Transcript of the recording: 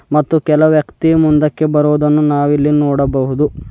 ಮತ್ತು ಇಲ್ಲಿ ಕೆಲವು ವ್ಯಕ್ತಿ ಮುಂದಕ್ಕೆ ಬರುವುದನ್ನು ನಾವು ನೋಡಬಹುದು.